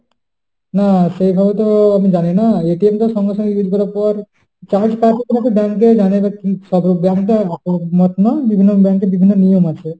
না সেভাবে তো আমি জানিনা তো সঙ্গে সঙ্গে bill করার পর charge কাটে নাকি bank এ জানি না, কি সব bank তো একরকম না, বিভিন্ন bank এ বিভিন্ন নিয়ম আছে।